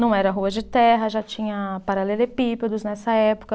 Não era rua de terra, já tinha paralelepípedos nessa época.